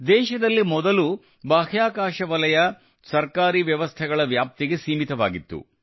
ದೇಶದಲ್ಲಿ ಮೊದಲು ಬಾಹ್ಯಾಕಾಶ ವಲಯ ಸರ್ಕಾರಿ ವ್ಯವಸ್ಥೆಗಳ ವ್ಯಾಪ್ತಿಗೆ ಸೀಮಿತವಾಗಿತ್ತು